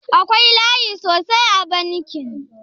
Akwai layi sosai a bankin?